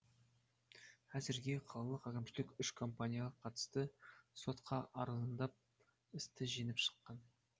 әзірге қалалық әкімшілік үш компанияға қатысты сотқа арызданып істі жеңіп шыққан